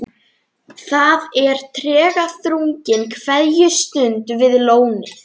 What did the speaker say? Það er tregaþrungin kveðjustund við lónið.